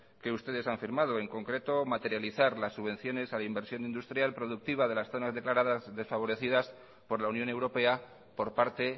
que ustedes han firmado en concreto materializar las subvenciones a la inversión industrial productiva de las zonas declaradas desfavorecidas por la unión europea por parte